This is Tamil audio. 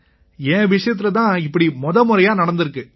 என் விஷயத்தில தான் இப்படி முதமுறையா நடந்திருக்கு